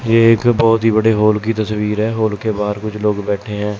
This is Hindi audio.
ये एक बहुत ही बड़े हॉल की तस्वीर है हाल के बाहर कुछ लोग बैठे हैं।